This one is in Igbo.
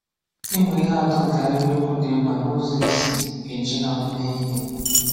Ị̀mụ̀ ihè atọ̀ nkè àhìrìokwù dị̀ mkpà nà ụzọ̀ è sì ejì hà meè ihè